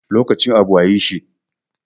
Lokacin abu a yi shi